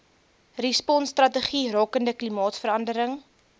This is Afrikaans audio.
responsstrategie rakende klimaatsverandering